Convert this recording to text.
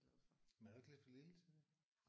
Men er du ikke lidt for lille til det?